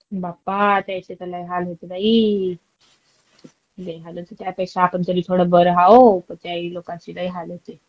बाप्पा त्याचे त लय हाल होते बाई. लई हालत होती. त्यापेक्षा आपण तरी थोडे बरे आहोत. त्या लोकांचे लई हाल होते.